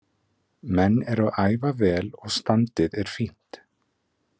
Menn eru að æfa vel og standið er fínt.